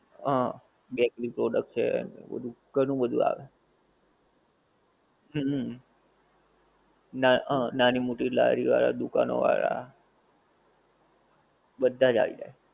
હા bakery product છે, એવું ઘણું બધું આવે, હમ હા ના નાની મોટી લારી વાળા દુકાનો વાળા, બધાજ આવી જાએ